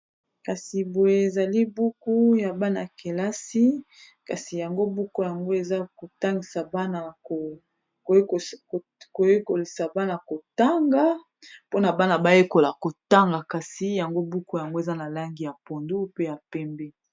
Kasi boye ezali buku ya bana kelasi kasi buku yango eza koyekolisa bana kotanga pona bana bayekola kotanga kasi yango buku yango eza na langi ya pondu, pe ya pembe.